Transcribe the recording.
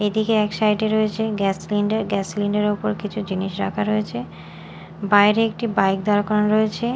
এদিকে এক সাইড -এ রয়েছে গ্যাস সিলিন্ডার গ্যাস সিলিন্ডার -এর উপর কিছু জিনিস রাখা রয়েছে বাইরে একটি বাইক দাড় করানো রয়েছে।